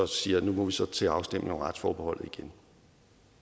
siger at nu må vi så tage en afstemning om retsforbeholdet igen